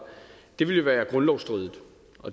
ville være grundlovsstridig